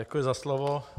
Děkuji za slovo.